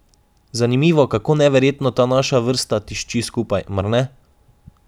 Zanimivo, kako neverjetno ta naša vrsta tišči skupaj, mar ne?